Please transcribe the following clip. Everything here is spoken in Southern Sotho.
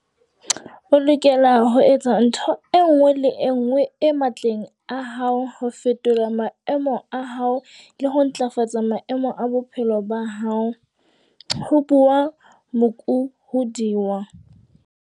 O lokela ho etsa ntho e nngwe le e nngwe e matleng a hao ho fetola maemo a hao le ho ntlafatsa maemo a bophelo ba hao, ho bua Muk hodiwa.